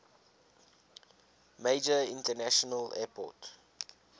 major international airport